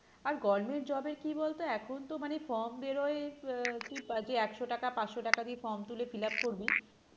আর government job এর কি বলতো এখন তো মানে form বেরোয় আহ একশো টাকা, পাঁচশো টাকা দিয়ে form তুলে form fill up করবি